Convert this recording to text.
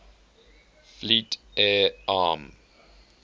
fleet air arm